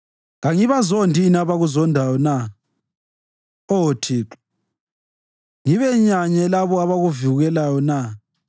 Kangibazondi yini abakuzondayo na Oh, Thixo, ngibenyanye labo abakuvukelayo na?